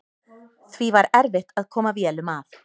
Því var erfitt að koma vélum að.